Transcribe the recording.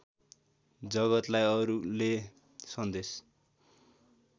जगतलाई अरूले सन्देश